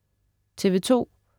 TV2: